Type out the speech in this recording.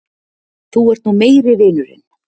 Þú ert nú meiri vinurinn!